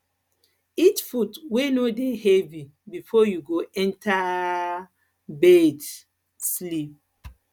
eat food wey no dey heavy before you go enter um bed um sleep